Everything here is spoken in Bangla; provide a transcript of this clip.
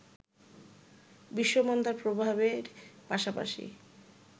বিশ্বমন্দার প্রভাবের পাশাপাশি